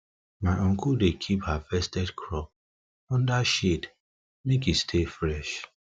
my uncle dey keep harvested crop under shade make e stay fresh